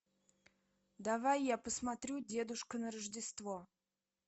давай я посмотрю дедушка на рождество